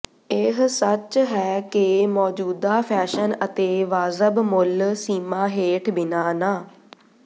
ਇਹ ਸੱਚ ਹੈ ਕਿ ਮੌਜੂਦਾ ਫੈਸ਼ਨ ਅਤੇ ਵਾਜਬ ਮੁੱਲ ਸੀਮਾ ਹੇਠ ਬਿਨਾ ਨਾ